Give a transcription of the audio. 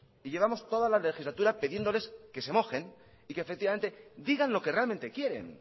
y llevamos toda la legislatura pidiéndoles que se mojen y que efectivamente digan lo que realmente quieren